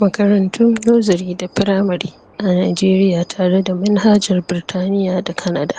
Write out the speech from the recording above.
Makarantun nursery da primary a Nigeria tare da minhajar Birtaniya da Canada,